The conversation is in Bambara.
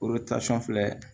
filɛ